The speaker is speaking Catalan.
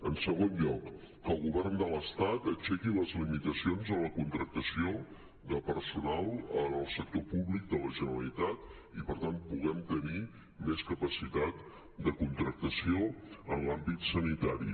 en segon lloc que el govern de l’estat aixequi les limitacions a la contractació de personal en el sector públic de la generalitat i per tant puguem tenir més capacitat de contractació en l’àmbit sanitari